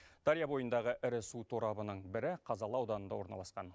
дария бойындағы ірі су торабының бірі қазалы ауданында орналасқан